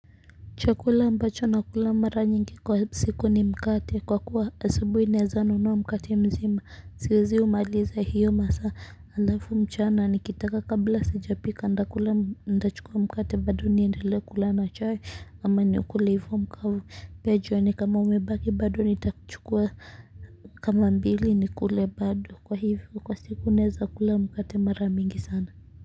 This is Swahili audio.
Chakula ambacho na kula mara nyingi kwa siku ni mkate kwa kuwa asubuhi naweza nunua mkate mzima siwezi umaliza hiyo masaa halafu mchana ni kitaka kabla sijapika ntakula nitachukua mkate bado niendelee kula na chai ama ni ukule hivyo mkavu pia jioni kama umebaki bado nitachukua kama mbili nikule bado kwa hivyo kwa siku naweza kula mkate mara mingi sana.